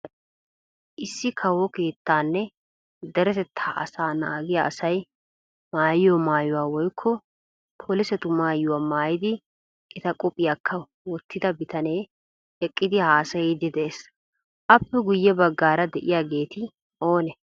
Issi kawo keettaanne deretettaa asaa naagiya asay maayiyo maayuwa woykko polisetu maayuwa maayidi eta qophiyaaka wottida bitanee eqqidi haasayiiddi de'ees. Aappe guyye baggaara de'iyaageti oone?